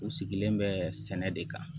U sigilen bɛ sɛnɛ de kan